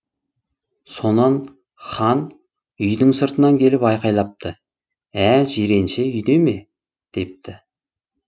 сонан хан үйдің сыртынан келіп айқайлапты ә жиренше үйде ме депті